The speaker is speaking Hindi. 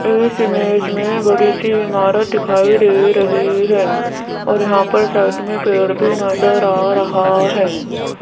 इस इमेज में बड़ी सी इमारत दिखाई दे रही है और यहां पर साइड में पेड़ भी नजर आ रहा है।